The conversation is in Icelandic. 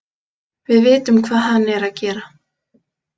Við vitum hvað hann er að gera.